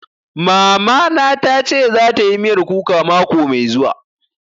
Mama na ta ce za ta yi miyar kuka mako mai zuwa